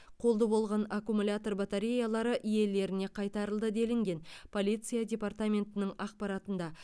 қолды болған аккумулятор батареялары иелеріне қайтарылды делінген полиция департаментінің ақпаратында